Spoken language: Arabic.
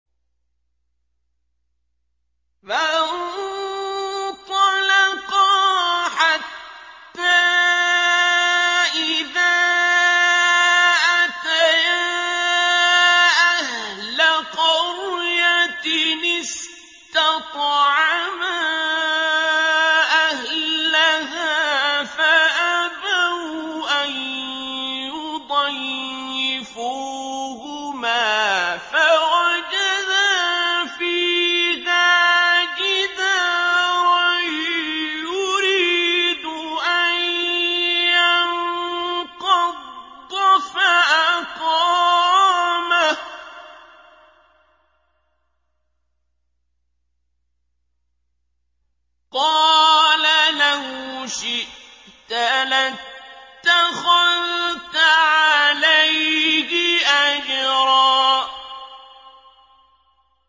فَانطَلَقَا حَتَّىٰ إِذَا أَتَيَا أَهْلَ قَرْيَةٍ اسْتَطْعَمَا أَهْلَهَا فَأَبَوْا أَن يُضَيِّفُوهُمَا فَوَجَدَا فِيهَا جِدَارًا يُرِيدُ أَن يَنقَضَّ فَأَقَامَهُ ۖ قَالَ لَوْ شِئْتَ لَاتَّخَذْتَ عَلَيْهِ أَجْرًا